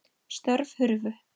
Störf hurfu.